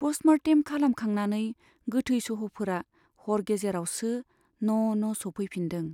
पष्ट मर्टेम खालाम खांनानै गोथै सह'फोरा हर गेजेरावसो न' न' सौफैफिन्दों।